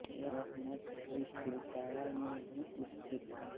यह मठ भी तिलपाड़ा में ही स्थित है